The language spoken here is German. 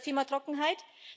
Und das Thema Trockenheit?